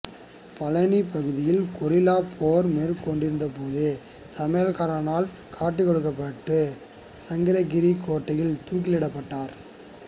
பழனி பகுதியில் கொரில்லாப் போர் மேற்கொண்டிருந்த போது சமையல்காரனால் காட்டி கொடுக்கப்பட்டு சங்ககிரி கோட்டையில் தூக்கிலிடப்பட்டார்